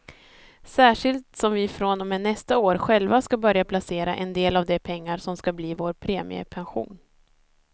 Särskilt som vi från och med nästa år själva ska börja placera en del av de pengar som ska bli vår premiepension.